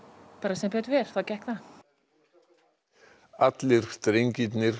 sem betur fer þá gekk það allir drengirnir